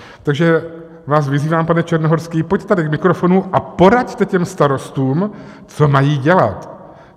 Takže vás vyzývám, pane Černohorský, pojďte tady k mikrofonu a poraďte těm starostům, co mají dělat.